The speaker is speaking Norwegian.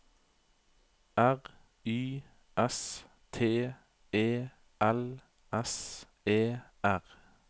R Y S T E L S E R